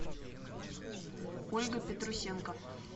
ольга петрусенко